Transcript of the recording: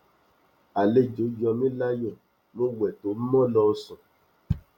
àlejò yọ mí láyọ mo wẹ tó mo lọ sùn